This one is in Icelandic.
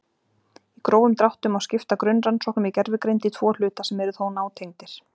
Í grófum dráttum má skipta grunnrannsóknum í gervigreind í tvo hluta sem eru þó nátengdir.